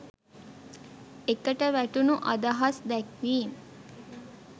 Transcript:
ඒකට වැටුණු අදහස් දැක්වීම්